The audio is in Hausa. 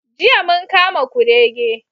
Jiya mun kama kurege.